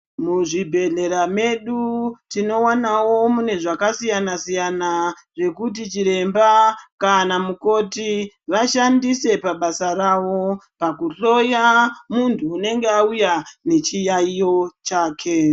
Muzvibhehlera medu tinowanawo mune zvakasiuyana siyana zvekuti chiremba kana mukoti vashandise pabasa ravo pakuhloya muntu unenge auya nechiyaiyo chake.